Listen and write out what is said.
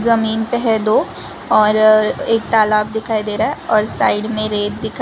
जमीन पे है दो और एक तालाब दिखाई दे रहा है और साइड में रेत दिखाए--